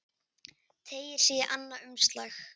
Teygir sig í annað umslag.